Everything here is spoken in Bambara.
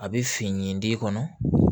A bɛ fin d'i kɔnɔ